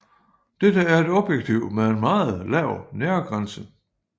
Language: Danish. Dette er et objektiv med en meget lav nærgrænse